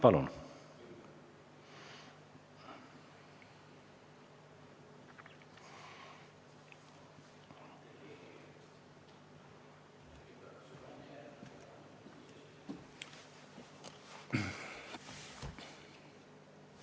Palun!